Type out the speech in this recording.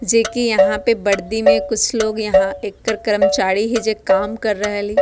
जे के यहाँ पे वर्दी में कुछ लोग यहाँ एक्कर कर्मचारी हे जे काम कर रहली।